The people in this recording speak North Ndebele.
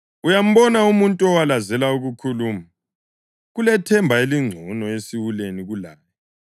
Uyambona umuntu owalazela ukukhuluma? Kulethemba elingcono esiwuleni kulaye.